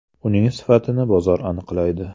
Uning sifatini bozor aniqlaydi.